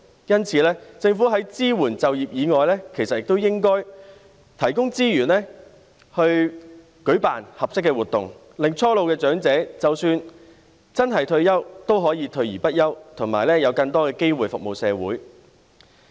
因此，政府在支援就業以外，其實也應該提供資源去舉辦合適的活動，令初老長者即使真的退休，也可以退而不休，有更多機會服務社會。